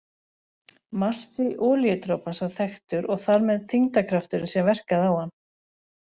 Massi olíudropans var þekktur og þar með þyngdarkrafturinn sem verkaði á hann.